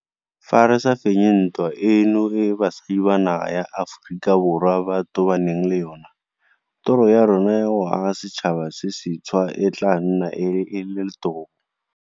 Fa re sa fenye ntwa eno e basadi ba naga ya Aforika Borwa ba tobaneng le yona, toro ya rona ya go aga setšhaba se sentšhwa e tla nna e e letobo.